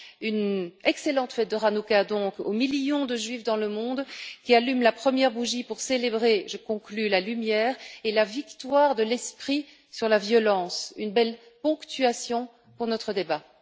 Une excellente fête de Hanukka aux millions de Juifs dans le monde, qui allument la première bougie pour célébrer je conclus la lumière et la victoire de l'esprit sur la violence, une belle ponctuation pour notre débat.